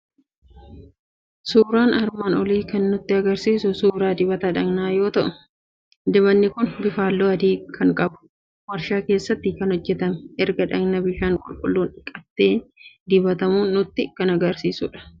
Suuraan armaan olii kan nutti argisiisu suuraa dibata dhaqnaa yoo ta'u, dibatni kun bifaan halluu adii kan qabu, waarshaa keessatti kan hojjetamee, erga dhaqna bishaan qulqulluun dhiqatamee dibatamu nutti argisiisudha.